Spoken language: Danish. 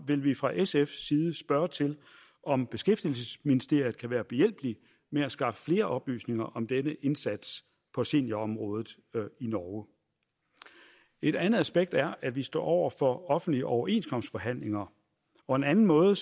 vil vi fra sfs side altså spørge til om beskæftigelsesministeriet kan være behjælpelig med at skaffe flere oplysninger om denne indsats på seniorområdet i norge et andet aspekt er at vi står over for offentlige overenskomstforhandlinger og en anden måde